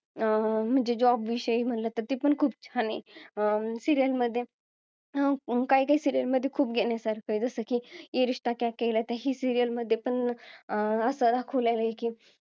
अं म्हणजे job विषयी मला तर ते खूप छान आहे अं serial मध्ये अं काय काय serial मध्ये खूप घेण्यासारखा आहे जसं की ये रिश्ता क्या कहलाता ही serial मध्ये पण अं दाखवलेलं आहे की